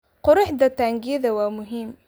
Quruxda taangiyada waa muhiim.